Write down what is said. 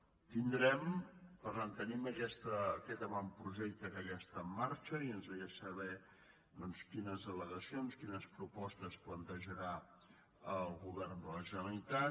per tant tenim aquest avantprojecte que ja està en marxa i ens agradaria saber quines al·legacions quines propostes plantejarà el govern de la generalitat